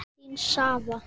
Vonandi vinnum við hann.